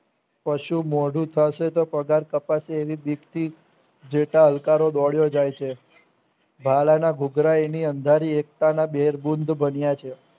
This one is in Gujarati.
કશું મોડું થશે તો પગાર કાપાસે એવી બીકથી જેક અલંકારો દોડ્યો જાય છે ભાલાના ધુધરા એની અંધારી એકતાના બેરબુન્દ બન્યા છે